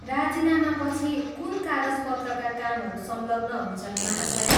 राजिनामापछि कुन कागजपत्रका कामहरू संलग्न हुन्छन्, महाशया?